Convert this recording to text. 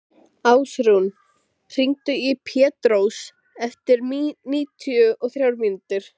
Ásrún, hringdu í Pétrós eftir níutíu og þrjár mínútur.